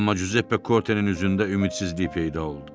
Amma Giuseppe Kortenin üzündə ümidsizlik peyda oldu.